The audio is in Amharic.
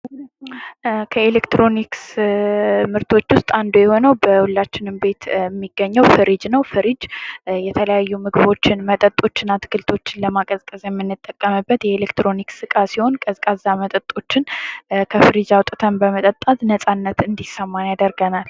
ከኤሌክትሮኒክስ ምርቶች ውስጥ አንዱ የሆነው በሁላችንም ቤት የሚገኘው ፍሪጅ ነው ፍሪጅ የተለያዩ ምግቦችን መጠጦችን አትክልቶችን ለማቀዝቀዝ የምንጠቀምበት የኤሌክትሮኒክስ እቃ ሲሆን ቀዝቃዛ መጠጦችን ከፍሪጅ አውጥተን በመጠጣት ነጻነት እንድሰማን ያደርገናል።